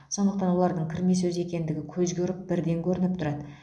сондықтан олардың кірме сөз екендігі көзге ұрып бірден көрініп тұрады